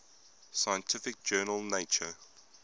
scientific journal nature